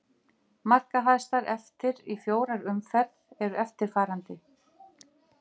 Markahæstar eftir í fjórar umferð eru eftirfarandi: